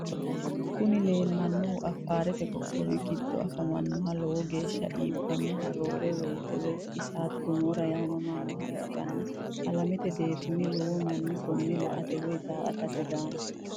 Kuni leellannohu affarete qoqqowi giddo afamannoha lowo geeshsa iibbannoha roore woyite (isate gomora) yaamamannoha ikkanna alamete deerrinni lowo manni koone la"ate woy daa"atate daanno.